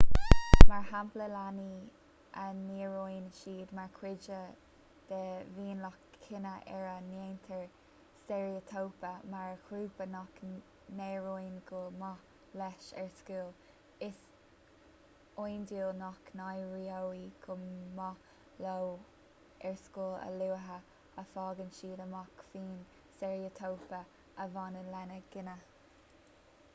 mar shampla leanaí a n-airíonn siad mar chuid de mhionlach cine ar a ndéantar steiréitíopa mar ghrúpa nach n-éiríonn go maith leis ar scoil is iondúil nach n-éireoidh go maith leo ar scoil a luaithe a fhaigheann siad amach faoin steiréitíopa a bhaineann lena gcine